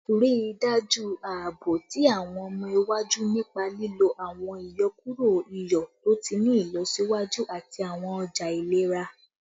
Rii daju aabo ti awọn ọmọ iwaju nipa lilo awọn iyọkuro iyọ to ti ni ilọsiwaju ati awọn ọja ilera